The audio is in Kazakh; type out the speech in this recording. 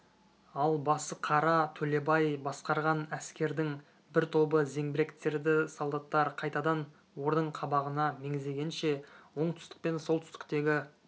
ал басықара төлебай басқарған әскердің бір тобы зеңбіректерді солдаттар қайтадан ордың қабағына меңзегенше оңтүстік пен солтүстіктегі